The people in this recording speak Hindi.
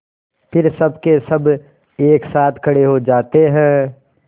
फिर सबकेसब एक साथ खड़े हो जाते हैं